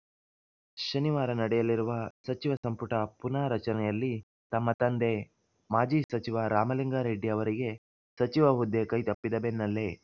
ಶನಿವಾರ ನಡೆಯಲಿರುವ ಸಚಿವ ಸಂಪುಟ ಪುನಾರಚನೆಯಲ್ಲಿ ತಮ್ಮ ತಂದೆ ಮಾಜಿ ಸಚಿವ ರಾಮಲಿಂಗಾ ರೆಡ್ಡಿ ಅವರಿಗೆ ಸಚಿವ ಹುದ್ದೆ ಕೈತಪ್ಪಿದ ಬೆನ್ನಲ್ಲೇ